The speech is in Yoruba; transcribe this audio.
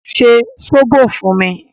Ṣe sóbò fún mi!